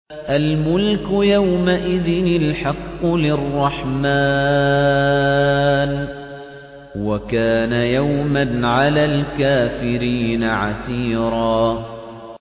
الْمُلْكُ يَوْمَئِذٍ الْحَقُّ لِلرَّحْمَٰنِ ۚ وَكَانَ يَوْمًا عَلَى الْكَافِرِينَ عَسِيرًا